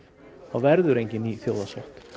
þá verður engin ný þjóðarsátt